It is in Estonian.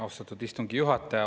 Austatud istungi juhataja!